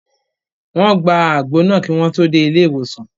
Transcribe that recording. Wọ́n gba àgbo náà kí wọ́n tó dé ilé ìwòsàn